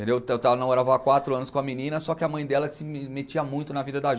entendeu eu estava namorava há quatro anos com a menina, só que a mãe dela se metia muito na vida da